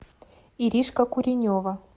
иришка куренева